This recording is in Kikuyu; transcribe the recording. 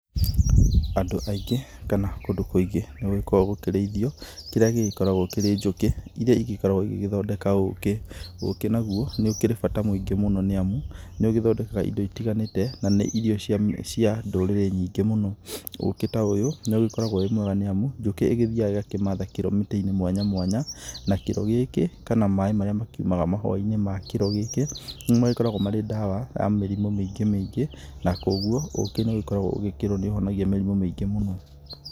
Andũ aingĩ kana kũndũ kũingĩ nĩ gĩgĩkoragwo gũkĩrĩithio kĩrĩa gĩgĩkoragwo kĩrĩ njũkĩ, iria igĩkoragwo igĩgĩthondeka ũkĩ. Ũkĩ naguo, nĩ ũkĩrĩ bata mũingĩ mũno nĩ amu nĩ ũgĩthondekaga indo itiganĩte na nĩ irio cia ndũrĩrĩ nyingĩ mũno. Ũkĩ ta ũyũ nĩ ũgĩkoragwo wĩ mwega nĩ amu, njũkĩ ĩgithiaga ĩgakĩmatha kĩro mĩtĩ-inĩ mwanya mwanya, na kĩro gĩkĩ, kana maaĩ marĩa makiumaga mahũa-inĩ ma kĩro gĩkĩ nĩ magĩkoragwo marĩ ndawa ya mĩrimũ mĩingĩ mĩingĩ, na kũgũo ũkĩ nĩ ũgĩkoragwo ũgĩkĩĩrwo nĩ ũhonagia mĩrimũ mĩingĩ mũno.